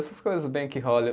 Essas coisas bem que